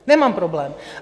Nemám problém.